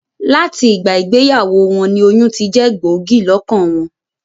Làti ìgbà ìgbeyàwó won ni oyún tijé gbògí lókàn won